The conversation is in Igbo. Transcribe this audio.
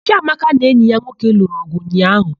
Chiamaka na enyi ya nwoke lụrụ ọgụ ụnyaahụ.